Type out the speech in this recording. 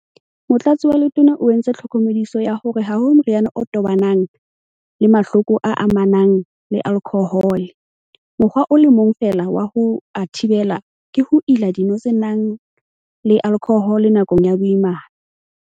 Motlatsi wa Letona o entse tlhokomediso ya hore ha ho moriana o tobanang le mahloko a amanang le alkhohole - mokgwa o le mong feela wa ho a thibela ke ho ila dino tse nang le alkhohole nakong ya boimana.